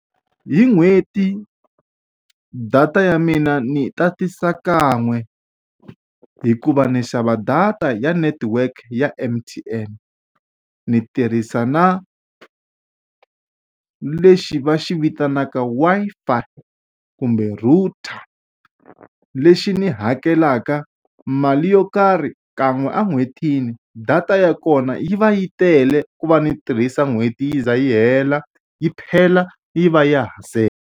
Hi n'hweti data ya mina ni tatisa kan'we, hikuva ndzi xava data ya netiweke ya M_T_N. Ni tirhisa na lexi va xi vitanaka Wi-F-i kumbe router, lexi ni hakelaka mali yo karhi kan'we en'hwetini. Data ya kona yi va yi tele ku va ni tirhisa n'hweti yi ze yi hela, yi phela yi va ya ha .